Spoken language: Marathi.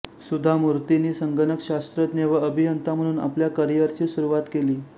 सुधा मूर्तीनी संगणक शास्त्रज्ञ व अभियंता म्हणून आपल्या करिअरची सुरुवात केली